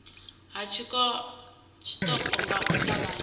ha tshiṱoko nga u ṱavhanya